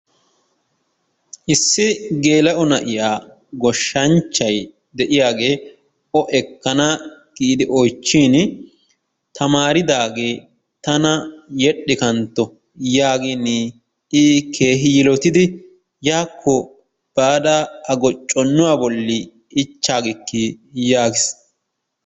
Issi geela'o na'iyaa goshshsanchchay deeiyaagee o ekana giidi oychchiin tamaridaagee tana yedhidhi kantto yaagin i keehi yiilottidi yakko baada a gocconnuwaa bolli ichchaagiikii yaagiis.